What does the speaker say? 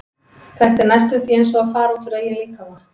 Þetta er næstum því eins og að fara út úr eigin líkama.